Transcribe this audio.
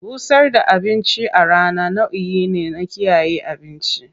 Busar da abinci a rana nau'i ne na kiyaye abinci.